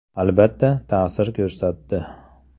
Albatta, ta’sir ko‘rsatdi.